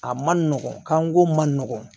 A man nɔgɔn kanko man nɔgɔn